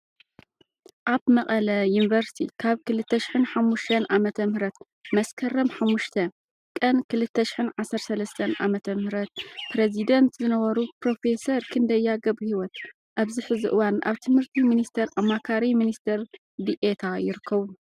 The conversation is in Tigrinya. ኣብ መቐለ ዩኒቨርሲቲ ካብ 2005 ዓ.ም - መስከረም 5 ቀን 2013 ዓ/ም ፕሬዚዳንት ዝነበሩ ፕሮፌሰር ክንደያ ገ/ሂወት ኣብዚ ሕዚ እዋን ኣብ ትምህርቲ ሚኒስቴር ኣማካሪ ሚኒስተር ዲኤታ ይርከቡ።